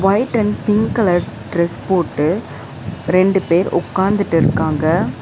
White and pink colour dress போட்டு ரெண்டு பேர் உக்காந்துடிருக்காங்க.